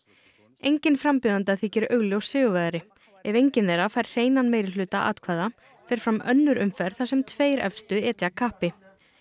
enginn framjóðenda þykir augljós sigurvegari ef enginn þeirra fær hreinan meirihluta atkvæða fer fram önnur umferð þar sem tveir efstu etja kappi